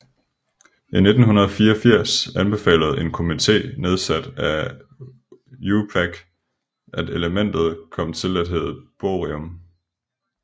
I 1984 anbefalede en komité nedsat af IUPAC at elementet kom til at hedde Bohrium